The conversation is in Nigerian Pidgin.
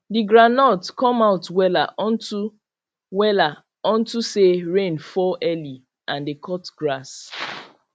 the groundnut come out wella unto wella unto say rain fall early and dey cut grass